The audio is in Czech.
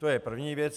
To je první věc.